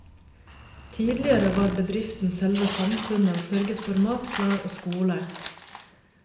Tidligere var bedriften selve samfunnet og sørget for mat, klær og skole.